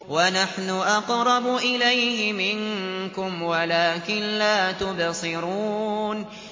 وَنَحْنُ أَقْرَبُ إِلَيْهِ مِنكُمْ وَلَٰكِن لَّا تُبْصِرُونَ